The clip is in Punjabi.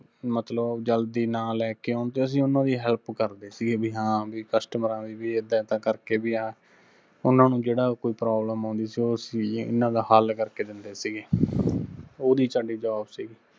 ਮਤਲਬ ਜਲਦੀ ਨਾ ਲੈਕੇ ਆਉਣ ਤੇ ਅਸੀਂ ਉਹਨਾਂ ਦੀ help ਕਰਦੇ ਸਿਗੇ ਬੀ ਹਾਂ customer ਆਂ ਦੀ ਵੀ ਇੱਦਾਂ ਇੱਦਾਂ ਕਰਕੇ ਵੀ ਆ, ਉਹਨਾ ਨੂੰ ਜਿਹੜਾ ਕੋਈ problem ਆਉੰਦੀ ਸੀ, ਉਹ ਅਸੀਂ ਇਹਨਾਂ ਦਾ ਹੱਲ ਕਰਕੇ ਦਿੰਦੇ ਸਿਗੇ, ਉਹਦੀ ਸਾਡੀ job ਸਿਗੀ।